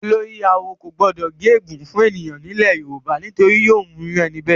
Olórí-awo kò gbọdọ gé ègún fún ènìyàn nílẹ̀ Yorùbá, nítorí yóò mú irú ẹni bẹ́ẹ̀.